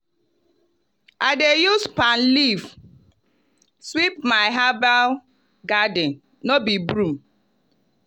i dey use palm leaf sweep my herbal garden no be broom.